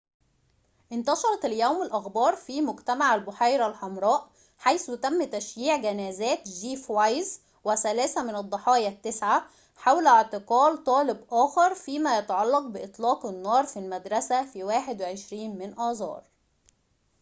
انتشرت اليوم الأخبار في مجتمع البحيرة الحمراء حيث تم تشييع جنازات جيف وايز وثلاثة من الضحايا التسعة حول اعتقال طالب آخر فيما يتعلق بإطلاق النار في المدرسة في 21 من آذار